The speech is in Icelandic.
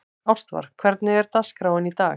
Ástvar, hvernig er dagskráin í dag?